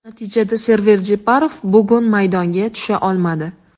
Natijada Server Jeparov bugun maydonga tusha olmadi.